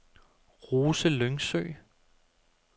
Rose Lyngsø